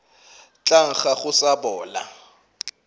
tla nkga go sa bola